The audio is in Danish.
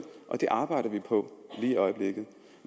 og det arbejder vi på lige i øjeblikket